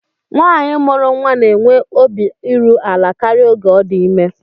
Nwaanyi mụrụ nnwa na-enwe obi iru ala karịa oge ọ dị ime